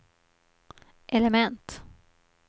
element